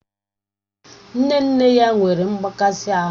Nne nne ya nwere mgbaka isi